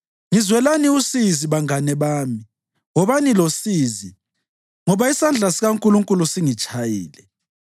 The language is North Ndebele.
Ngizwelani usizi, bangane bami, wobani losizi, ngoba isandla sikaNkulunkulu singitshayile.